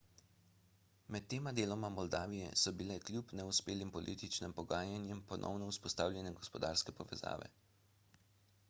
med tema deloma moldavije so bile kljub neuspelim političnim pogajanjem ponovno vzpostavljene gospodarske povezave